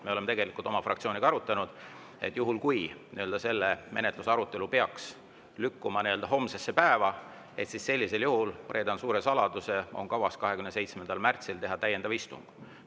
Me oleme oma fraktsiooniga arutanud, et kui see arutelu peaks lükkuma homsesse päeva, sellisel juhul – reedan nüüd suure saladuse – on kavas teha 27. märtsil täiendav istung.